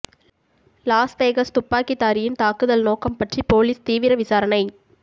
loss Vegas துப்பாக்கிதாரியின் தாக்குதல் நோக்கம் பற்றி போலீஸ் தீவிர விசாரணை